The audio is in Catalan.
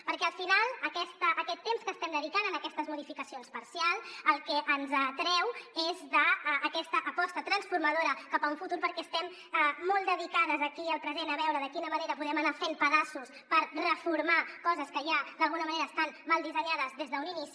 perquè al final aquest temps que estem dedicant a aquestes modificacions parcials del que ens treu és d’aquesta aposta transformadora cap a un futur perquè estem molt dedicades aquí al present a veure de quina manera podem anar fent pedaços per reformar coses que ja d’alguna manera estan mal dissenyades des d’un inici